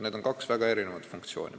Need on kaks väga erinevat funktsiooni.